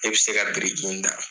I bɛ se ka biriki in da.